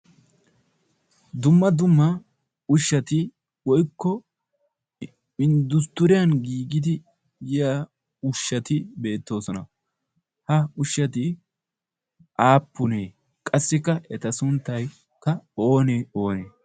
dumma dumma ushshati woykko inddusttiriyan giigidi yiya ushshati beettoosona ha ushshati aappunee qassikka eta sunttaykka oonee oonee